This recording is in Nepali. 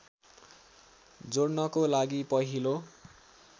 जोड्नको लागि पहिलो